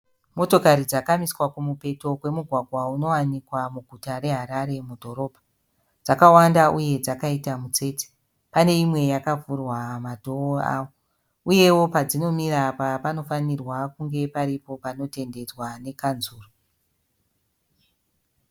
Motokari dzakamiswa kumupeto kwemugwagwa unowanikwa muguta reHarare mudhorobha. Dzakawanda uye dzakaita mutsetse. Pane imwe yakavhurwa madhoo avo. Uye padzinomira apa panofanirwa kunge paripo panotendedzwa nekanzuru